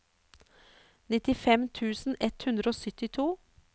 nittifem tusen ett hundre og syttito